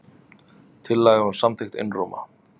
Tillagan var samþykkt einróma.